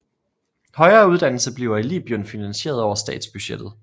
Højere uddannelse bliver i Libyen finansieret over statsbudgettet